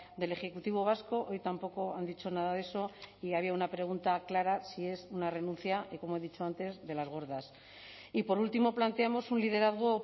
del ejecutivo vasco hoy tampoco han dicho nada de eso y había una pregunta clara si es una renuncia y como he dicho antes de las gordas y por último planteamos un liderazgo